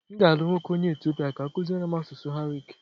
M ga-alụ nwoke onye Etiopia ka ọ kụziere m asụsụ Amharic